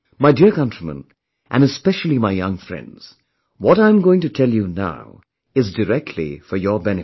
My dear countrymen and especially my young friends, what I am going to tell you now is directly for your benefit